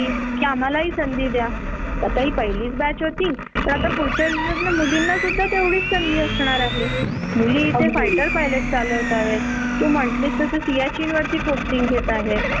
काम स्मूद होतात. तास पुरशांच्या बाबतीत कधीच होत नाही तुला माहिती आहे का?माझ्या वरुण बघ जरा माझ्या म्हणजे मी जेव्हा जॉब करत होते तेव्हा माझ्या मिस्टरांनी साठ- सत्तर सुट्ट्या शिल्लक होत्या आणि त्यांनी.